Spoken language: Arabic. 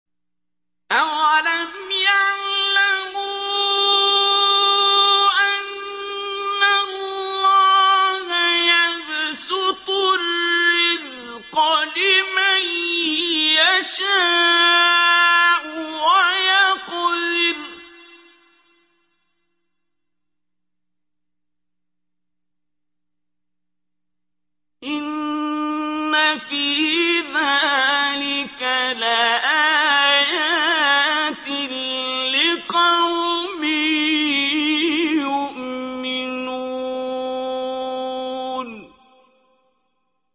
أَوَلَمْ يَعْلَمُوا أَنَّ اللَّهَ يَبْسُطُ الرِّزْقَ لِمَن يَشَاءُ وَيَقْدِرُ ۚ إِنَّ فِي ذَٰلِكَ لَآيَاتٍ لِّقَوْمٍ يُؤْمِنُونَ